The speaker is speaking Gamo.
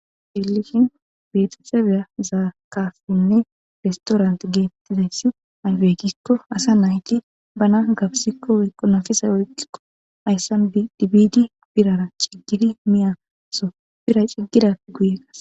Helishin betette beya zaakafinne restorant geettizayssi ayfeekikko asa nayti bana gabsikko ekonafisa oykkikko ayssan dibidi birara ciggidi miyaso bira ciggidappe guye kas.